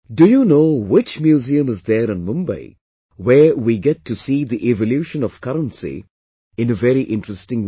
Do you know which museum is there in Mumbai, where we get to see the evolution of currency in a very interesting way